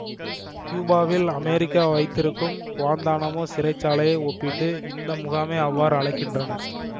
கியூபாவில் அமெரிக்கா வைத்திருக்கும் குவாந்தானாமோ சிறைச்சாலையை ஒப்பிட்டு இந்த முகாமை அவ்வாறு அழைக்கின்றனர்